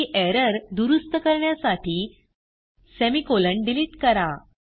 ही error दुरूस्त करण्यासाठी semicolon delete करा